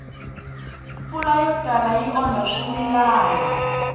mpfula yo tala yi onha swimilana